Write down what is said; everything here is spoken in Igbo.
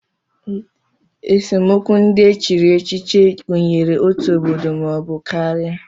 Esemokwu ndị e chiri echichi gụnyere otu obodo maọbụ karịa